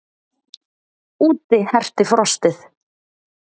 Úti herti frostið.